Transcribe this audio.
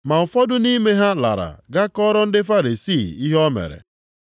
Ma ụfọdụ nʼime ha lara gaa kọọrọ ndị Farisii ihe o mere.